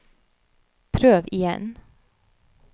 prøv igjen